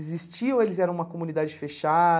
Existia ou eles eram uma comunidade fechada?